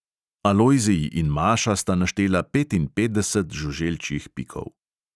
Alojzij in maša sta naštela petinpetdeset žuželčjih pikov.